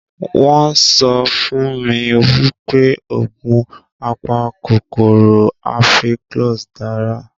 Wọn sọ fún mi wípé oògùn apakòkòrò Ampiclox dára